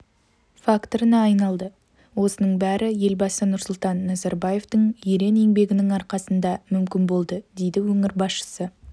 факторына айналды осының бәрі елбасы нұрсұлтан назарбаевтың ерен еңбегінің арқасында мүмкін болды дейді өңір басшысы